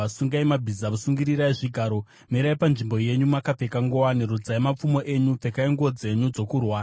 Sungai mabhiza, sungirirai zvigaro! Mirai panzvimbo yenyu makapfeka nguwani! Rodzai mapfumo enyu, pfekai nguo dzenyu dzokurwa!